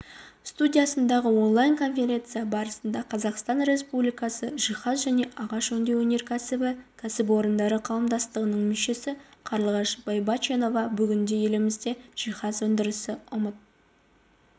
студиясындағы онлайн конференция барысында қазақстан республикасы жиһаз және ағаш өңдеу өнеркәсбі кәсіпорындары қауымдастығының мүшесі қарлығаш байбаченова бүгінде елімізде жиһаз өндірісі ұмыт